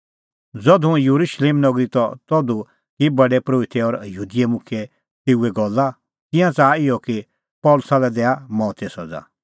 ज़धू हुंह येरुशलेम नगरी त तधू की प्रधान परोहित और यहूदी मुखियै तेऊए गल्ला तिंयां च़ाहा इहअ कि पल़सी लै दैआ मौते सज़ा